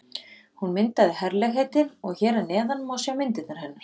Hún myndaði herlegheitin og hér að neðan má sjá myndirnar hennar.